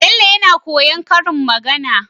Bello yAna koyan karin magAna